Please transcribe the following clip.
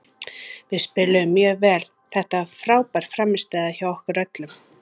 Við spiluðum mjög vel, þetta var frábær frammistaða hjá okkur öllum.